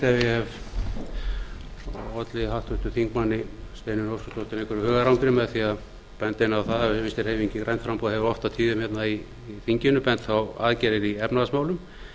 leitt ef ég hef opið háttvirtur þingmaður steinunni óskarsdóttur einhverju hugarangri með því að benda henni á það að vinstri hreyfingin grænt framboð hefur oft á tíðum hérna í þinginu bent á aðgerðir í efnahagsmálum